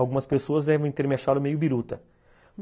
Algumas pessoas devem ter me achado meio biruta.